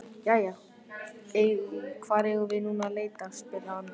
Jæja, hvar eigum við nú að leita? spurði hann.